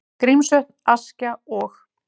Grímsvötn, Askja og